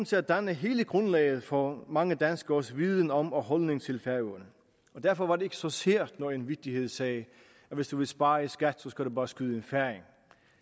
til at danne hele grundlaget for mange danskeres viden om og holdning til færøerne derfor var det ikke så sært når en vittighed sagde at hvis du vil spare i skat skal du bare skyde en færing